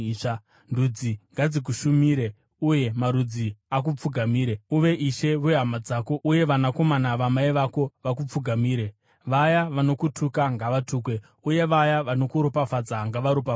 Ndudzi ngadzikushumire uye marudzi akupfugamire. Uve ishe wehama dzako, uye vanakomana vamai vako vakupfugamire. Vaya vanokutuka ngavatukwe uye vaya vanokuropfadza ngavaropafadzwe.”